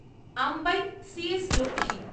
Ambai C S Lakshmi